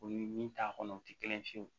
O ni min t'a kɔnɔ o tɛ kelen ye fiyewu